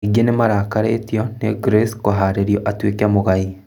Aingĩ nĩmarakarĩtio nĩ Grace kũharĩrĩrio atuĩke mũgai.